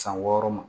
San wɔɔrɔ ma